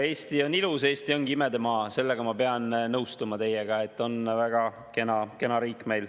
Eesti on ilus, Eesti ongi imedemaa, selles ma pean teiega nõustuma, väga kena riik on meil.